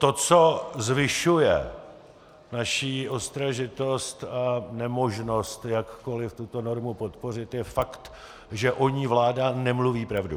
To, co zvyšuje naši ostražitost a nemožnost jakkoliv tuto normu podpořit, je fakt, že o ní vláda nemluví pravdu.